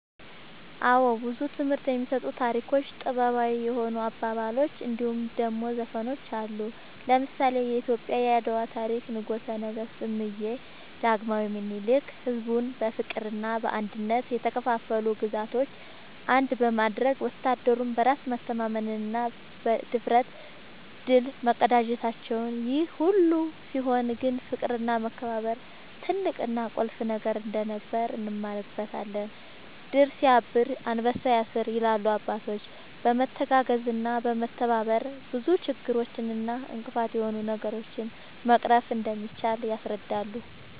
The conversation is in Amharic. አወ ብዙ ትምህርት የሚሰጡ ታሪኮች ጥበባዊ የሆኑ አባባሎች እንድሁም ደሞ ዘፈኖች አሉ። ለምሳሌ :-የኢትዮጵያ የአድዋ ታሪክ ንጉሰ ነገስት እምዬ ዳግማዊ ምኒልክ ሕዝቡን በፍቅርና በአንድነት የተከፋፈሉ ግዛቶችን አንድ በማድረግ ወታደሩም በራስ መተማመንና ብድፍረት ድል መቀዳጀታቸውን ይሄ ሁሉ ሲሆን ግን ፍቅርና መከባበር ትልቅና ቁልፍ ነገር እንደነበር እንማርበታለን # "ድር ስያብር አንበሳ ያስር" ይላሉ አባቶች በመተጋገዝና በመተባበር ብዙ ችግር እና እንቅፋት የሆኑ ነገሮችን መቅረፍ እንደሚቻል ያስረዳሉ